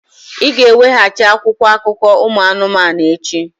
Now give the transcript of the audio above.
Ị ga-eweghachi akwụkwọ akụkọ ụmụ anụmanụ echi!